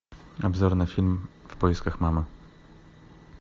обзор на фильм в поисках мамы